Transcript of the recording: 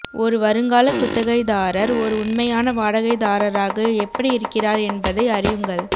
ஒரு வருங்கால குத்தகைதாரர் ஒரு உண்மையான வாடகைதாரராக எப்படி இருக்கிறார் என்பதை அறியுங்கள்